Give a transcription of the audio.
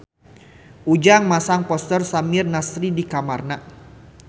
Ujang masang poster Samir Nasri di kamarna